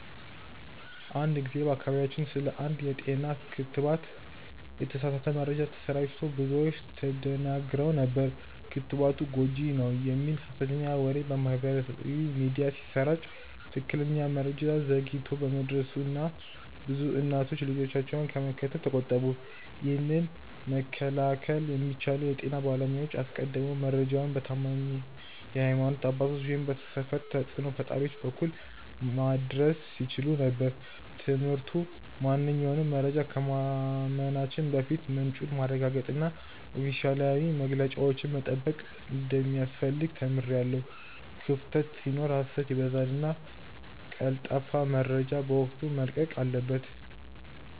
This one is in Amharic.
አንድ ጊዜ በአካባቢያችን ስለ አንድ የጤና ክትባት የተሳሳተ መረጃ ተሰራጭቶ ብዙዎች ተደናግረው ነበር። ክትባቱ ጎጂ ነው" የሚል ሀሰተኛ ወሬ በማህበራዊ ሚዲያ ሲሰራጭ ትክክለኛ መረጃ ዘግይቶ በመድረሱ ብዙ እናቶች ልጆቻቸውን ከመከተብ ተቆጠቡ። ይህንን መከላከል የሚቻለው የጤና ባለሙያዎች አስቀድመው መረጃውን በታማኝ የሀይማኖት አባቶች ወይም የሰፈር ተጽእኖ ፈጣሪዎች በኩል ማድረስ ሲችሉ ነበር። ትምህርቱ ማንኛውንም መረጃ ከማመናችን በፊት ምንጩን ማረጋገጥና ኦፊሴላዊ መግለጫዎችን መጠበቅ እንደሚያስፈልግ ተምሬያለሁ። ክፍተት ሲኖር ሀሰት ይበዛልና ቀልጣፋ መረጃ በወቅቱ መለቀቅ አለበት።